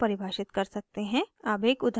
अब एक उदाहरण देखते हैं